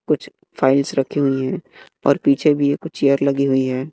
कुछ फाइल्स रखी हुई है और पीछे भी कुछ चेयर लगी हुई है।